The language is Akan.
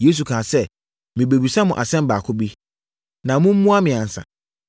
Yesu kaa sɛ, “Merebɛbisa mo asɛm baako bi, na mommua me ansa.